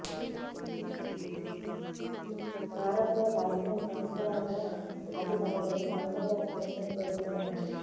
భారత్లో కాశ్మీర్ సమస్యలాగా అది తమ దేశ అంతర్గత సమస్యని పేర్కొన్నారు